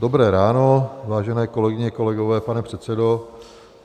Dobré ráno, vážené kolegyně, kolegové, pane předsedo.